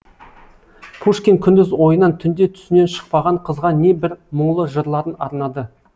пушкин күндіз ойынан түнде түсінен шықпаған қызға не бір мұңлы жырларын арнады